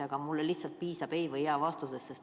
Aga mulle piisab lihtsalt jaa‑ või ei‑vastusest.